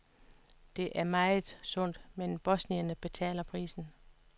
Det er vel meget sundt, men bosnierne betaler prisen.